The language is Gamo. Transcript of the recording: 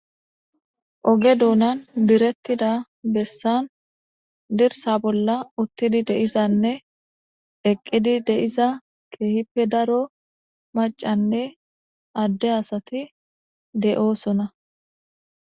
oge duunan birettida bessan dirsa bolla uttidi deizanne eqqidi deiza keehipe daro macanne adde asati de7oosona